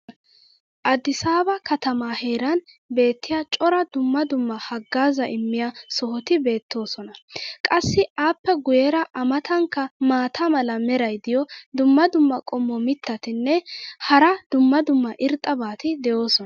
Addisaaba katamaa heeran beetiya cora dumma dumma hagaazaa immiya sohoti beetoosona. qassi appe guyeera a matankka maata mala meray diyo dumma dumma qommo mitattinne hara dumma dumma irxxabati de'oosona.